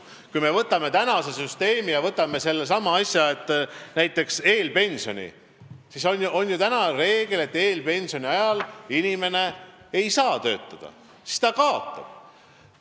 Kui me võtame praeguse süsteemi ja näiteks sellesama eelpensioni, siis on seal ju reegel, et eelpensioni ajal inimene töötada ei saa, ta kaotab.